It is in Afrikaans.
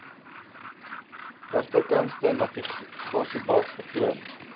regterkantste navigasiebalk vertoon